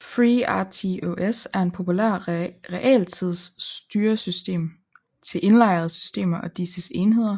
FreeRTOS er en populær realtidsstyresystem til indlejrede systemer og disses enheder